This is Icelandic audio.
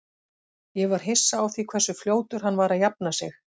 Ég var hissa á því hversu fljótur hann var að jafna sig.